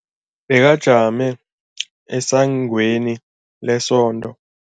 Bekajame esangweni lesonto.